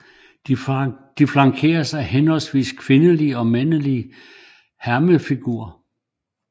De flankeres af henholdsvis kvindelige og mandlige hermefigurer